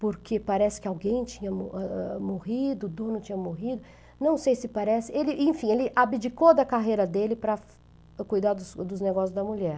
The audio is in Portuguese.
porque parece que alguém tinha o ah ah, morrido, o dono tinha morrido, não sei se parece, enfim, ele abdicou da carreira dele para cuidar dos dos negócios da mulher.